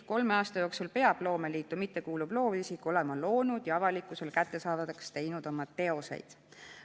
Kolme aasta jooksul peab loomeliitu mittekuuluv loovisik olema loonud ja avalikkusele kättesaadavaks teinud oma teoseid.